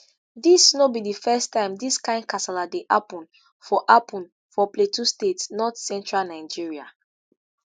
dis no be di first time dis kain kasala dey happun for happun for plateau state north central nigeria.